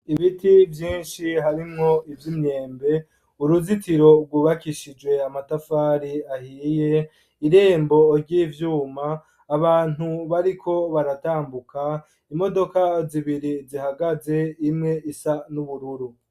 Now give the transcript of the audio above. Ibiti vyinshi harimwo ivy imyembe uruzitiro rwubakishijwe amatafari ahiye irembo ry'ivyuma abantu bariko baratambuka .Imodoka zibiri zihagaze imwe isa n'ubururu.